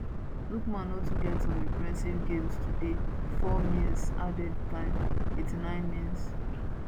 lookman no too get some impressive game today 4 mins added time 89mins